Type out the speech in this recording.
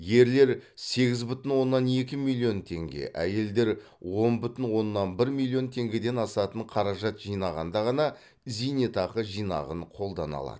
ерлер сегіз бүтін оннан екі миллион теңге әйелдер он бүтін оннан бір миллион теңгеден асатын қаражат жинағанда ғана зейнетақы жинағын қолдана алады